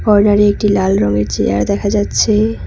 কর্নারে একটি লাল রঙের চেয়ার দেখা যাচ্ছে।